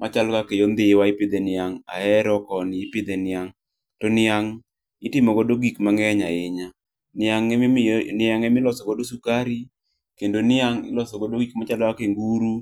Machalo kaka yo ndhiwa ipidhe niang', Ahero koni ipidhe niang'. To niang' itimo godo gik mang'eny ahinya. Niang emiyo niang' emilosogo sukari, kendo niang' iloso godo gik machalo kaka nguru,